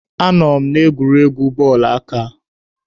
Anọ m n'egwuregwu bọọlụ aka.